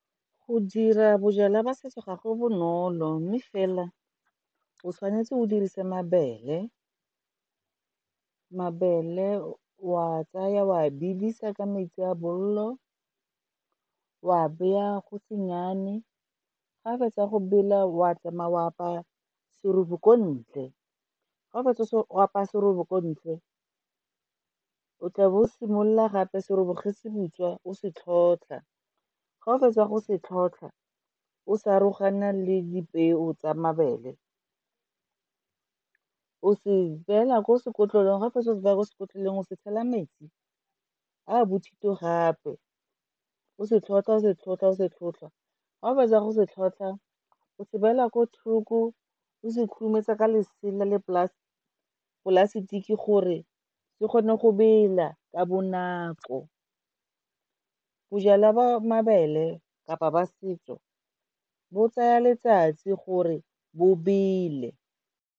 Go dira bojalwa jwa setso ga go bonolo mme fela o tshwanetse o dirise mabele, mabele wa tsaya wa bidisa ka metsi a bolelo, wa beya go se nnyane, ga fetsa go bela wa tsamaya o apaya serobe ko ntle. Ga o fetsa o apaya serobe ko ntle, o tla bo o simolola gape serobe ge se butswa o se tlhotlha, ga o fetsa go se tlhotlha o sa arogana le dipeo tsa mabele, o se beya ko sekolong ga fetsa go se beya ko sekotlolong o se tshela metsi a bothito gape o se tlhotlha-o se tlhotlha-o se tlhotlha ga o fetsa go se tlhotlha o se beela ko thoko o se khurumetsa ka lesela le polasitiki gore se kgone go bela ka bonako. Bojalwa ba mabele kapa ba setso bo tsaya letsatsi gore bo bele.